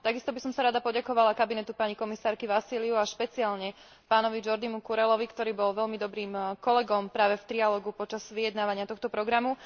Takisto by som sa rada poďakovala kabinetu pani komisárky Vassiliouovej a špeciálne pánovi Jordimu Curellovi, ktorý bol veľmi dobrým kolegom práve v triálogu počas vyjednávania tohto programu.